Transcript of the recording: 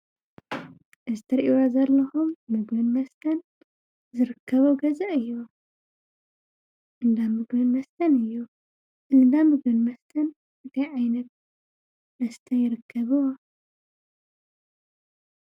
እዚ እትሪእዎ ዘለኩም ምግብን መስተን ዝርከቦ ገዛ እዩ፡፡ እንዳ ምግብን መስተን እዩ፡፡ እዚ እንዳ ምግብን መስተን እንታይ ዓይነት መስተ ይርከቡዎ?